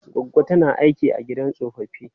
Goggo ta tana aiki a gidan tsofaffi.